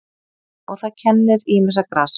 Og það kennir ýmissa grasa.